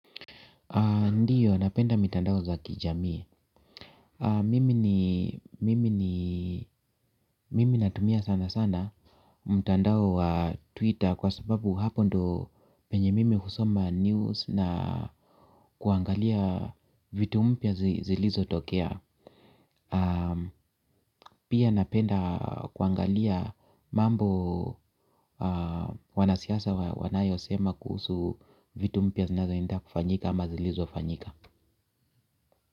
Ndiyo, napenda mitandao za kijamii. Mimi natumia sana sana mtandao wa Twitter kwa sababu hapo ndo penye mimi husoma news na kuangalia vitu mpya zilizotokea. Pia napenda kuangalia mambo wanasiasa wanayosema kuhusu vitu mpya zinazoenda kufanyika ama zilizofanyika.